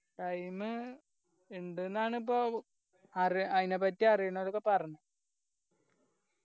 time ഇണ്ട്ന്നാണ് ഇപ്പൊ അറിയ ആയിന പറ്റി അറിയുന്നവരൊക്കെ പറഞ്ഞ